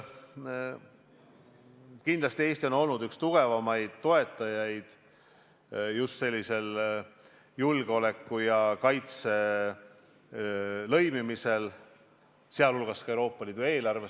Kindlasti on Eesti olnud üks tugevaimaid toetajaid just sellisel julgeoleku ja kaitse lõimimisel, sealhulgas ka Euroopa Liidu eelarvesse.